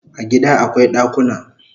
A gida akwai dakuna